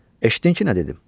Eşitdin ki, nə dedim?